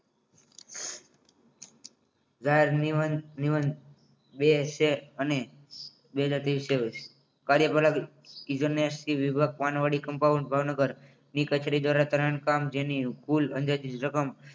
જાહેર નિમન નિમન નિમંત્રણ બે છે અને બે હજાર ત્રેવીસ છે કાર્યપ્રણાલી પાન વાળી compound ભાવનગર ની કચેરી દ્વારા current કામ જેની કુલ અંદાજિત રકમ